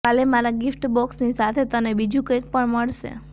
કાલે મારાં ગિફ્ટબોક્સની સાથે તને બીજું કંઈક પણ મળશે